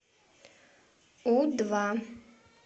у два